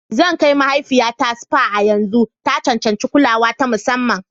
Zan kai mahaifiyata spa a yanzu. Ta cancanci kulawa ta musamman.